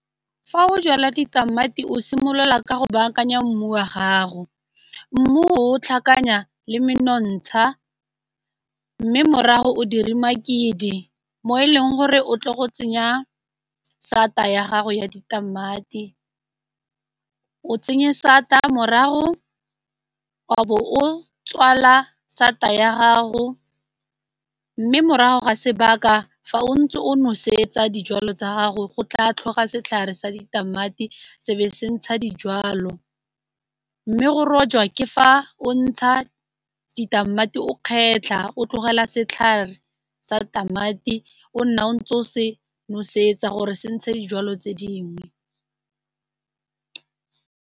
Fa o jala ditamati o simolola ka go baakanya mmu wa gago, mmu o tlhakanya le menontsha mme morago o dire makidi mo e leng gore o tlo go tsenya sata ya gago ya ditamati, o tsenye sata morago wa bo o tswala sata ya gago, mme morago ga sebaka fa o ntse o nosetsa dijalo tsa gago go tla tlhokega setlhare sa ditamati se be se ntsha dijalo, mme go rojwa ke fa o ntsha ditamati o kgetlha o tlogela setlhare sa tamati o nna o ntse o se nosetsa gore se ntshe dijwalo tse dingwe.